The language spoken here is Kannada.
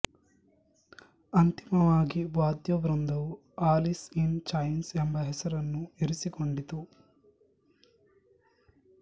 ಅಂತಿಮವಾಗಿ ವಾದ್ಯವೃಂದವು ಅಲಿಸ್ ಇನ್ ಚೈನ್ಸ್ ಎಂಬ ಹೆಸರನ್ನು ಇರಿಸಿಕೊಂಡಿತು